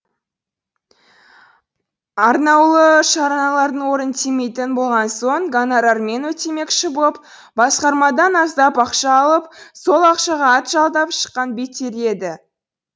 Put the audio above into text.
арнаулы шаралардың орын тимейтін болған соң гонорармен өтемекші боп басқармадан аздап ақша алып сол ақшаға ат жалдап шыққан беттері еді